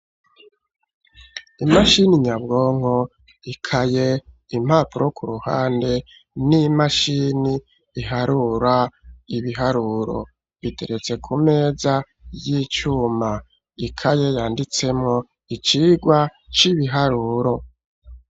Imashini nyabwonko, ikaye ,impapuro ku ruhande n'imashini iharura ibiharuro biteretse ku meza y'icuma ikaye yanditsemo icigwa c'ibiharuro.